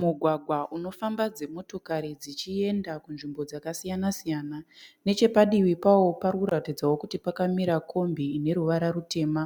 Mugwagwa unofamba dzimotikari dzichienda kunzvimbo dzakasiyana-siyana. Nechepadivi pawo parikuratidza kuti pakamira kombi ine ruvara rutema.